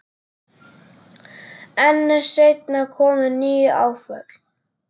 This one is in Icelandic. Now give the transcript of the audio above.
En seinna komu ný áföll.